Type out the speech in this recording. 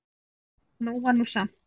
Nóg var nú samt.